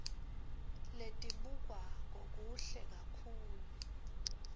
letibukwako kuhle kakhulu